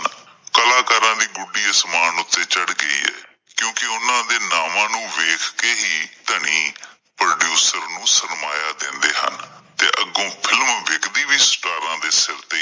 ਕਲਾਕਾਰਾਂ ਦੀ ਗੁੱਡੀ ਅਸਮਾਨ ਵਿੱਚ ਚੜ ਗਈ ਏ, ਕਿਉਂਕਿ ਉਹਨਾਂ ਦੇ ਨਾਵਾਂ ਨੂੰ ਵੇਖ ਕਿ ਹੀ ਧਨੀ producers ਨੂੰ ਸਰਮਾਇਆਂ ਦਿੰਦੇ ਹਨ ਅਤੇ ਅੱਗੋਂ film ਵਿਕਦੀ ਵੀ star ਦੇ ਸਿਰ ਤੇ ਆ।